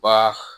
Ba